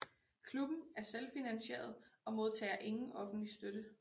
Klubben er selvfinansieret og modtager ingen offentlig støtte